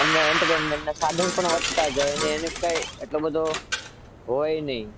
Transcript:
એમને entertainment ના સાધન પણ વધતા જાય એટલું બધું પણ કઈ હોય નહીં.